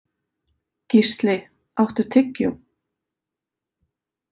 Gísli, áttu tyggjó?